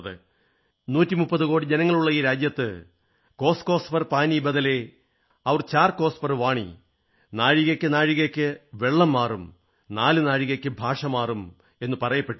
130 കോടി ജനങ്ങളുള്ള ഈ രാജ്യത്ത് കോസ് കോസ് പർ പാനി ബദലേ ഔര ചാർ കോസ പർ വാണി നാഴികയ്ക്കു നാഴികയ്ക്കു വെള്ളം മാറും നാലു നാഴികയ്ക്കു ഭാഷമാറും എന്നു പറയപ്പെട്ടിരുന്നു